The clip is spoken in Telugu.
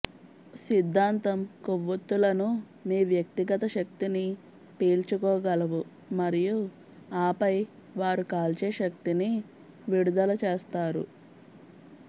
సిద్ధాంతం కొవ్వొత్తులను మీ వ్యక్తిగత శక్తిని పీల్చుకోగలవు మరియు ఆపై వారు కాల్చే శక్తిని విడుదల చేస్తారు